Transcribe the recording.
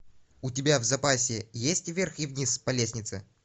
у тебя в запасе есть вверх и вниз по лестнице